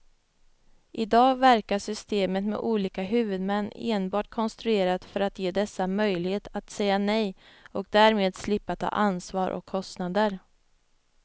I dag verkar systemet med olika huvudmän enbart konstruerat för att ge dessa möjlighet att säga nej och därmed slippa ta ansvar och kostnader.